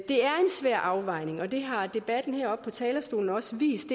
svær afvejning og det har debatten heroppe på talerstolen også vist